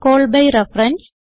call B reference